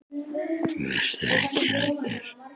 Vertu ekki hræddur.